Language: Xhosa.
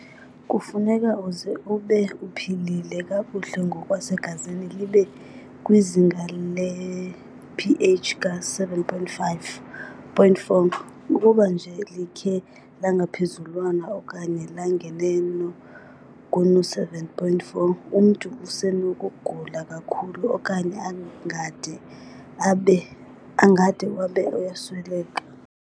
Kufuneka uze ube uphilile kakuhle ngokwasegazini libe kwizinga le-ph ka 7.4. Ukuba nje likhe langaphezulwana okanye langaneno kuno-7.4, umntu usenokugula kakhulu okanye angade abe uyasweleka.